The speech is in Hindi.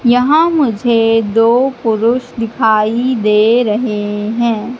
यहां मुझे दो पुरुष दिखाई दे रहे हैं।